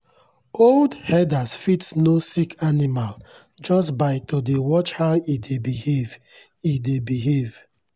old herders fit know sick animal just by to dey watch how e dey behave. e dey behave.